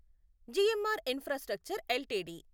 GMR infrastructure LTD